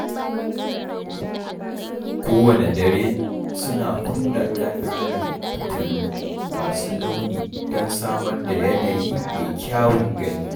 Kowanne dare, suna kunna ƙananan fitilu masu launi don samar da yanayi mai kyawun gani.